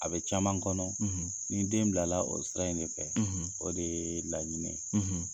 A bɛ caman kɔnɔ, , ni den bila la o sira in de fɛ, ,o de ye laɲini ye.